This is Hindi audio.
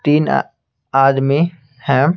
तीन आ-- आदमी हैं।